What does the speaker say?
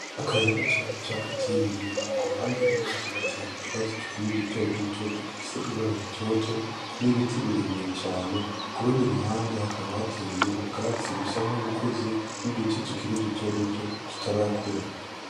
Akayira gatoya gaca hagati y'imirima kuruhande rumwe hakaba hateye utwatsi dukeye duto duto tugifise ibara ritoto nibiti birebire cane, kurundi ruhande hakaba hateye ubwatsi busa nkubukuze n'uduti tukiri duto duto tutarakura.